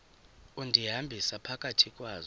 undihambisa phakathi kwazo